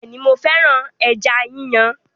Bẹẹni, mo féràn ẹja yíyàn